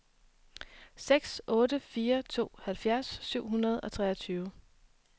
seks otte fire to halvfjerds syv hundrede og treogtyve